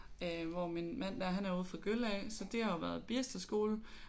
Øh hvor min mand der han er ude fra Gølle af så det har jo været Birsteskolen